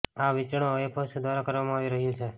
આ વેચાણ ઓએફએસ દ્વારા કરવામાં આવી રહ્યું છે